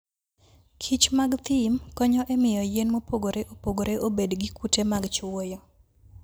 kichmag thim konyo e miyo yien mopogore opogore obed gi kute mag chwoyo.